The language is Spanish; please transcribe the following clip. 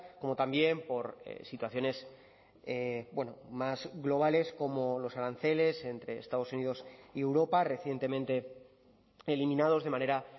como también por situaciones más globales como los aranceles entre estados unidos y europa recientemente eliminados de manera